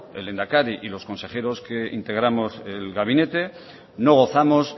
el lehendakari y los consejeros que integramos el gabinete no gozamos